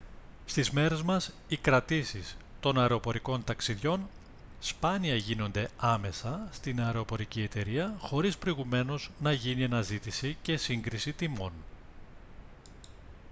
στις μέρες μας οι κρατήσεις των αεροπορικών ταξιδιών σπάνια γίνονται άμεσα στην αεροπορική εταιρεία χωρίς προηγουμένως να γίνει αναζήτηση και σύγκριση τιμών